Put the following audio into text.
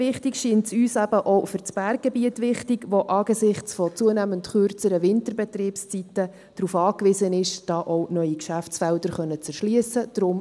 Wichtig scheint es uns insbesondere eben auch für das Berggebiet, das angesichts zunehmend kürzerer Winterbetriebszeiten darauf angewiesen ist, hier auch neue Geschäftsfelder erschliessen zu können.